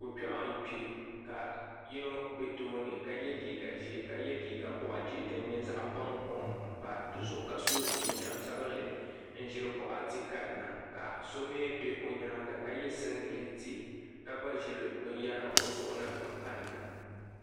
Ko'kpeɣu n kpe ka yino be tooni ka ye liiga boɣujihi ni zaɣa bankom ka so jinjiɛm sabinli n ʒiri buɣati kanna ka so mee be o nyaanga ka ye singileti ka gba ʒiri binyera o nuuni n kanna.